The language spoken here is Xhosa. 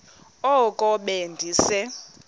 oko be ndise